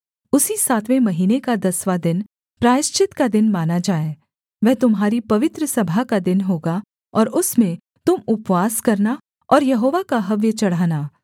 उसी सातवें महीने का दसवाँ दिन प्रायश्चित का दिन माना जाए वह तुम्हारी पवित्र सभा का दिन होगा और उसमें तुम उपवास करना और यहोवा का हव्य चढ़ाना